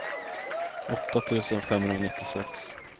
åtta tusen femhundranittiosex